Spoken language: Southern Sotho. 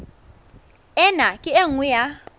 ena ke e nngwe ya